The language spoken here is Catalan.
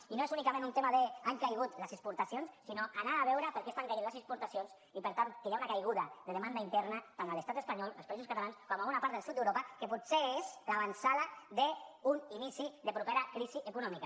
i no és únicament un tema de han caigut les exportacions sinó d’anar a veure per què estan caient les exportacions i per tant que hi ha una caiguda de demanda interna tant a l’estat espanyol als països catalans com a bona part del sud d’europa que potser és l’avantsala d’un inici de propera crisi econòmica